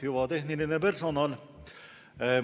Hüva tehniline personal!